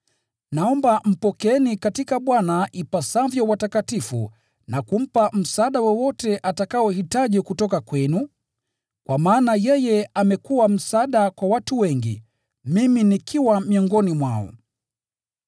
Naomba mpokeeni katika Bwana ipasavyo watakatifu na kumpa msaada wowote atakaohitaji kutoka kwenu, kwa maana yeye amekuwa msaada kwa watu wengi, mimi nikiwa miongoni mwao.